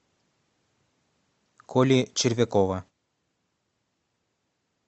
коли червякова